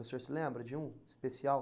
O senhor se lembra de um especial?